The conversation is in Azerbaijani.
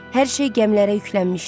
Hər şey gəmilərə yüklənmişdi.